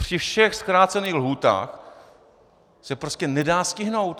Při všech zkrácených lhůtách se prostě nedá stihnout.